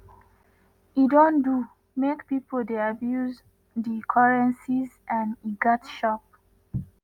e don do make pipo dey abuse di currencies and e gatz stop.